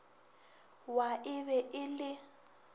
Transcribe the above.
wa e be e le